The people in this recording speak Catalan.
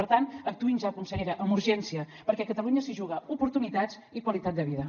per tant actuïn ja consellera amb urgència perquè catalunya s’hi juga oportunitats i qualitat de vida